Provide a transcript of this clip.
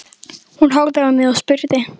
Hún horfði á mig og spurði